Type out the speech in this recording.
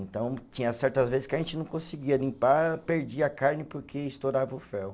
Então, tinha certas vezes que a gente não conseguia limpar, perdia a carne porque estourava o fel.